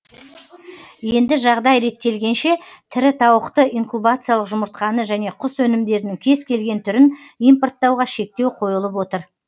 енді жағдай реттелгенше тірі тауықты инкубациялық жұмыртқаны және құс өнімдерінің кез келген түрін импорттауға шектеу қойылып отыр